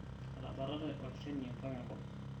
etabatate olnjani mpaka enkop